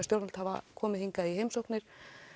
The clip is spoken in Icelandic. stjórnvöld hafa komið hingað í opinberar heimsóknir